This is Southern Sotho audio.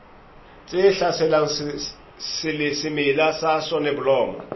tse hlaselang semela sa soneblomo